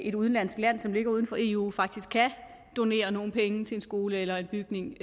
et udenlandsk land som ligger uden for eu faktisk kan donere nogle penge til en skole eller en bygning